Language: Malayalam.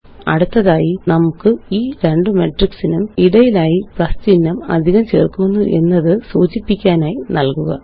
അടുത്തതായി നമുക്ക് ഈ രണ്ട് മെട്രിക്സിനും ഇടയിലായി പ്ലസ് ചിഹ്നം അധികം ചേര്ക്കുന്നു എന്നത് സൂചിപ്പിക്കാനായി നല്കുക